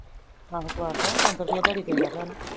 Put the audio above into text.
ਅਹੋ ਕਬਾਰਡਕ ਤੋ ਪੰਜ ਸੋ ਰੁਪੇ ਦਿਆਡੀ ਦੇਣਡੀਆ ਪਿਆ ਓਨੁ